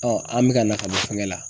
an be ka na ka bɔ fɛngɛ la.